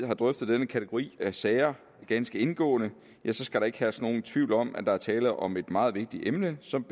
har drøftet denne kategori af sager ganske indgående skal der ikke herske nogen tvivl om at der er tale om et meget vigtigt emne som